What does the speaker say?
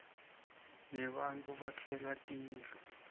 nebatitfu bakhelua tinbzu